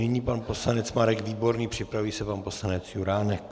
Nyní pan poslanec Marek Výborný, připraví se pan poslanec Juránek.